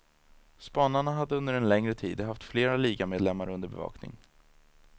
Spanarna hade under en längre tid haft flera ligamedlemmar under bevakning.